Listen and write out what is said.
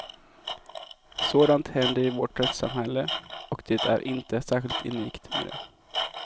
Sådant händer i vårt rättssamhälle och det är inte särskilt unikt med det.